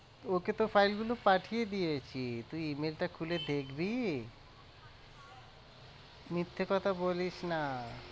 তোকে তো file গুলো পাঠিয়ে দিয়েছি। তুই email টা খুলে দেখবি মিথ্যে কথা বলিস না আর